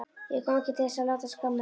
Ég kom ekki til þess að láta skamma mig.